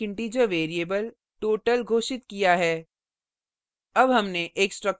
यहाँ हमने एक integer variable total घोषित किया है